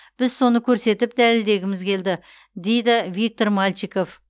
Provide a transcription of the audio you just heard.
біз соны көрсетіп дәлелдегіміз келді дейді виктор мальчиков